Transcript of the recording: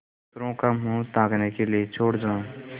दूसरों का मुँह ताकने के लिए छोड़ जाऊँ